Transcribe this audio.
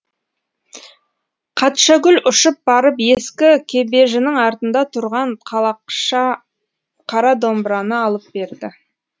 қатшагүл ұшып барып ескі кебеженің артында тұрған қалақша қара домбыраны алып берді